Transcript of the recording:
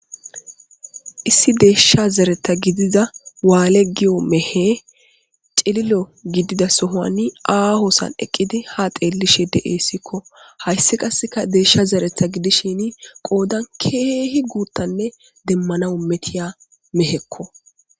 Issi deysha zeretha gidida waaliya giza mehey issi cilila sohoni aaho sohon eqqidi haa xeelishe de'eesiko. Hayssi qasseka deysha zeretha gidishin qoodan keehi guuta nne demmanaw metiza meheko.